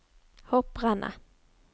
hopprennet